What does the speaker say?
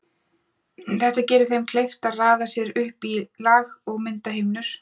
Þetta gerir þeim kleift að raða sér upp í lag og mynda himnur.